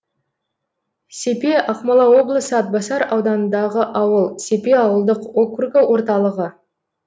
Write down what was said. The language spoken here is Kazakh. сепе ақмола облысы атбасар ауданындағы ауыл сепе ауылдық округі орталығы